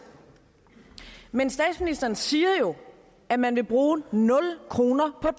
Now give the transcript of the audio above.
men statsministeren siger jo at man vil bruge nul kroner på